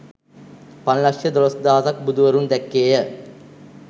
පන්ලක්‍ෂ දොළොස් දහසක් බුදුවරුන් දැක්කේ ය